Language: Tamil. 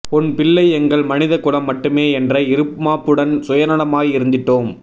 உன் பிள்ளை எங்கள் மனித குலம் மட்டுமே என்ற இருமாப்புடன் சுயநலமாய் இருந்திட்டோம்